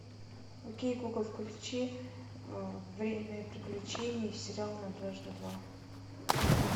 окей гугл включи время приключений сериал на дважды два